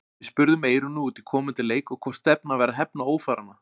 Við spurðum Eyrúnu út í komandi leik og hvort stefnan væri að hefna ófaranna?